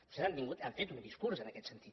vostès han tingut han fet un discurs en aquest sentit